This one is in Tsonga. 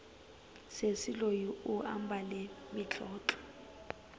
sesi loyi u ambale mitlotlo